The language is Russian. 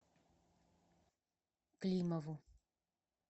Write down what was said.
климову